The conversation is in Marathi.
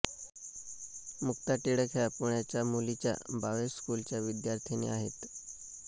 मुक्ता टिळक ह्या पुण्याच्या मुलीच्या भावे स्कूलच्या विद्यार्थिनी आहेत